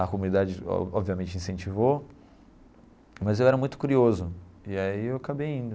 A comunidade obviamente incentivou, mas eu era muito curioso, e aí eu acabei indo.